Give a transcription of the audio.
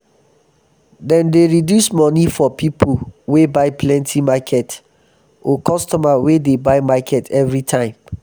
dem dey resduce moni for pipo wey buy plenty market or customer wey dey buy market evri time.